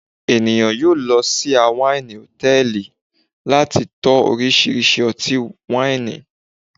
eniyan yoo lọ si a waini hòtẹ́ẹ̀lì, lati tó orisirisi oti waini